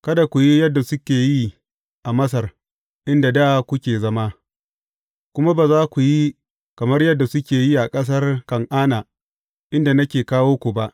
Kada ku yi yadda suke yi a Masar inda da kuke zama, kuma ba a ku yi kamar yadda suke yi a ƙasar Kan’ana inda nake kawo ku ba.